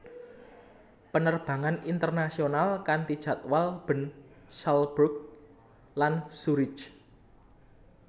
Penerbangan internasional kanti jadwal Bern Salzburg lan Zurich